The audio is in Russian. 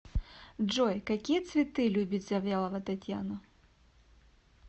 джой какие цветы любит завьялова татьяна